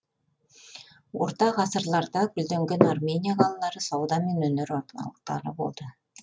орта ғасырларда гүлденген армения қалалары сауда мен өнер орталықтары болды